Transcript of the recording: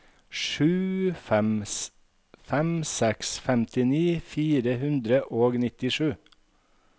sju fem fem seks femtini fire hundre og nittisju